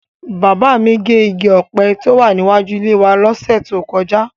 Bàbá mi gé igi ọ̀pẹ tó wà níwájú ilé wa lọ́sẹ̀ tó kọjá.